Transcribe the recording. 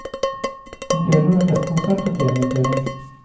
Om kvelden var det festkonsert og premieutdeling.